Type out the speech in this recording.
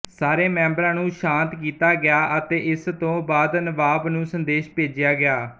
ਸਾਰੇ ਮੈਂਬਰਾਂ ਨੂੰ ਸ਼ਾਂਤ ਕੀਤਾ ਗਿਆ ਅਤੇ ਇਸ ਤੋਂ ਬਾਅਦ ਨਵਾਬ ਨੂੰ ਸੰਦੇਸ਼ ਭੇਜਿਆ ਗਿਆ